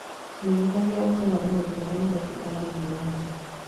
menyithagia ũhoro wa maũndũ marĩa marekĩka thĩinĩ wa thĩ